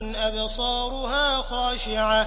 أَبْصَارُهَا خَاشِعَةٌ